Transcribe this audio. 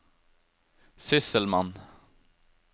sysselmann